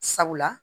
Sabula